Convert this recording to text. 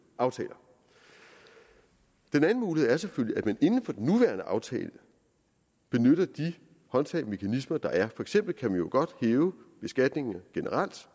aftaler den anden mulighed er selvfølgelig at man inden for den nuværende aftale benytter de håndtag og mekanismer der er for eksempel kan man jo godt hæve beskatningen generelt